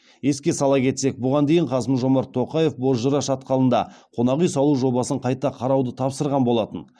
еске сала кетсек бұған дейін қасым жомарт тоқаев бозжыра шатқалында қонақ үй салу жобасын қайта қарауды тапсырған болатын